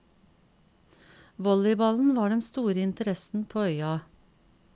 Volleyballen var den store interessen på øya.